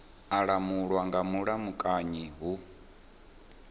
a langulwa nga mulamukanyi hu